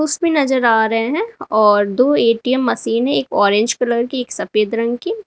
इसमें नजर आ रहे हैं और दो ए_टी_एम मशीन है एक ऑरेंज कलर की एक सफेद रंग की।